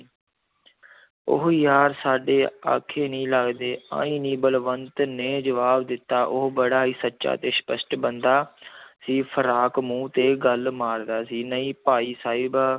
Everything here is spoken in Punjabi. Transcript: ਉਹ ਯਾਰ ਸਾਡੇ ਆਖੇ ਨਹੀਂ ਲੱਗਦੇ ਆਈ ਨੀ ਬਲਵੰਤ ਨੇ ਜਵਾਬ ਦਿੱਤਾ ਉਹ ਬੜਾ ਹੀ ਸੱਚਾ ਤੇ ਸਪਸ਼ਟ ਬੰਦਾ ਸੀ ਫਰਾਕ ਮੂੰਹ ਤੇ ਗੱਲ ਮਾਰਦਾ ਸੀ ਨਹੀਂ ਭਾਈ ਸਾਹਿਬ